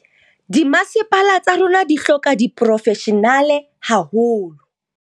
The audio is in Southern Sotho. Dimasepala tsa rona di hloka diporofeshenale haholo.